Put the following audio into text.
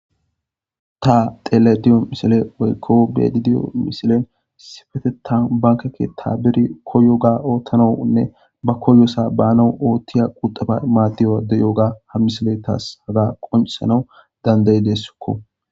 Ta tele diyo misile weykko bedi diyo misilen sifetetan bankekke tabiri koyoga oottanaunne ba koyosa baanau oothtiya quxaba imaatiyoa deyoga ham misile taas haga qoncisanau dandayi deessikko.